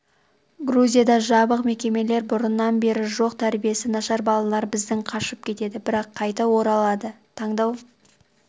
грузияда жабық мекемелер бұрыннан бері жоқ тәрбиесі нашар балалар бізден қашып кетеді бірақ қайта оралады таңдау